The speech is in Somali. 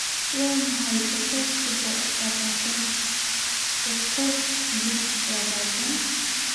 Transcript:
waa maxay boqolkiiba labaatan boqol iyo labaatan